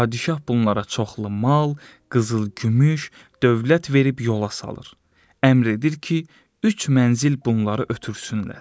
Padişah bunlara çoxlu mal, qızıl-gümüş, dövlət verib yola salır, əmr edir ki, üç mənzil bunları ötürsünlər.